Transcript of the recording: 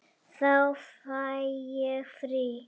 Þá fæ ég frí.